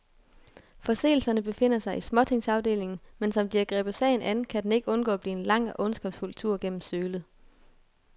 Forseelserne befinder sig i småtingsafdelingen, men som de har grebet sagen an, kan den ikke undgå at blive en lang og ondskabsfuld tur gennem sølet.